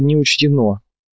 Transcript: не учтено